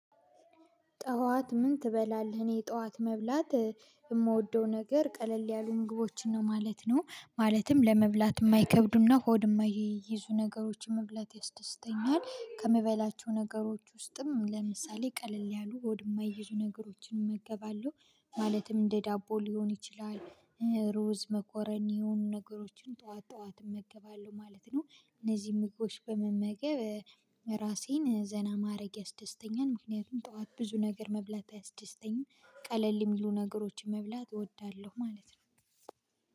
ጠዋት ምን ትበላለህ? እኔ ጠዋት መብላት እምወደው ነገር ቀለል ያሉኝ ምግቦችን ነው ማለት ነው። ማለትም ለመብላት እማይከብዱና ሆድ እማይይዙ ነገሮች መብላት ያስደስተኛል። ከመበላቸው ነገሮች ውስጥም ለምሳሌ ቀለል ያሉ ሆድ እማይይዙ ነገሮችን እመገባለሁ። ማለትም እንደ ዳቦ ሊሆን ይችላል ሩዝ መኮሮኒ የሆኑ ነገሮችን ጥዋት ጥዋት እመገባለሁ ማለት ነው። እነዚህ ምግቦች በመመገብ ራሴን ዘና ማድረግ ያስደስተኛል ምክንያቱም ጥዋት ብዙ ነገር መብላት አያስደስተኝም። ቀለል እሚሉ ነገሮችን መብላት እወዳለሁ ማለት ነው።